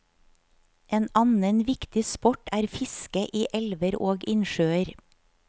En annen viktig sport er fiske i elver og innsjøer.